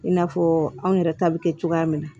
I n'a fɔ anw yɛrɛ ta bɛ kɛ cogoya min na